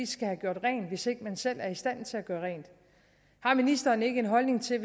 skal have gjort rent hvis ikke man selv er i stand til at gøre rent har ministeren ikke en holdning til